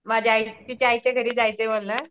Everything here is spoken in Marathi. माझ्या आई तिच्या आईच्या घरी जायचंय म्हणा